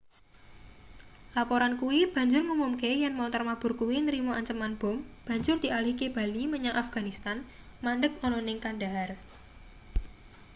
laporan kuwi banjur ngumumke yen montor mabur kuwi nrima anceman bom banjur dialihke bali menyang afganistan mandheg ana ning kandahar